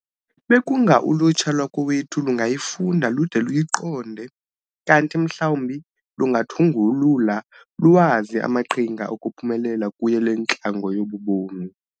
Bekunga ulutsha lwakowethu lungayifunda lude luyiqonde, kanti mhlawumbi lungathungulula luwazi amaqhinga okuphumelela kuyo le ntlango yobu bomi.